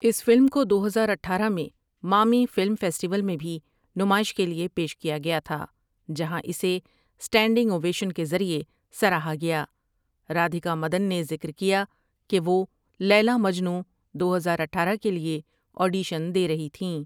اس film کو دو ہزار اٹھارہ مٰیں مامی فلم فیسٹیول میں بھی نمائش کے لیے پیش کیا گیا تھا جہاں اسے اسٹنڈنگ اوویشن کے ذریعے سراہا گیا رادھیکا مدن نے ذکر کیا کہ وہ لیلا مجنوں دو ہزار اٹھارہ کے لیے آڈیشن دے رہی تھیں ۔